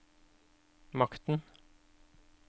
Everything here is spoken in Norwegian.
makten